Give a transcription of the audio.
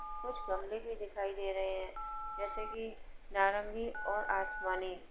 कुछ गमले भी दिखाई दे रहे हैं जैसे कि नारंगी और आसमानी।